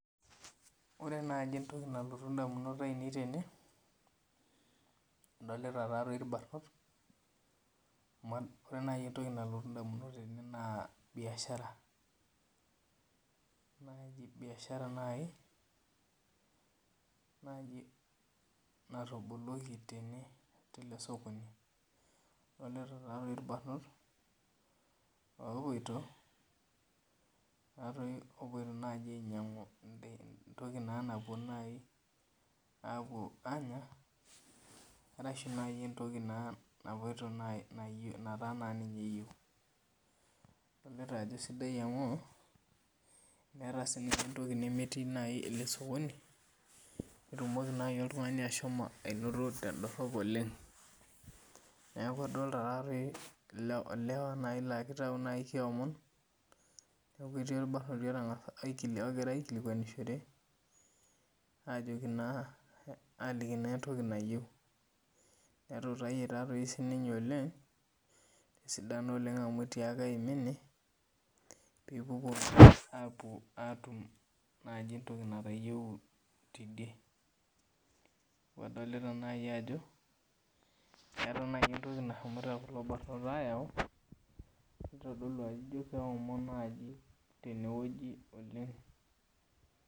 Ore naji entoki anlotu ndamunot ainei tene adolita irmbarnot ore entoki nalotu ndamunot na biashara biashara nai natoboloki na tene telesokoni na ore irbarnot opoito nai ainyangu entoki nai napuo anya arashu nai entokinataa kenya adolta ajo sidai amu eeta nai entokiele sokoni nilo oltungani ainoto tendorop oleng neaku adolta nai lewa na kitau keomon otoii orbarnoti ogira aikilikwanishore aliki na entoki nayieu aliki nai sinye oleng esidano amu eima ine pepuku apuoa tum entoki naymtayieua tidie adolta nai ajo eta nai entoki nashomo kulo parnot ayau nitodolu ajo ino keomon tenewueji oleng.